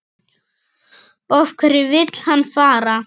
Af hverju vill hann fara?